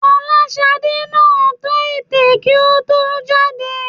Fọláṣadé náà tọ́ ètè kí ó tó jáde